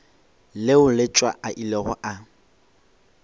leo letšwa a ilego a